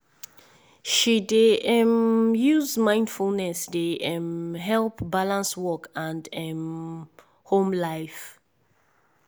she dey um use mindfulness dey um help balance work and um home life.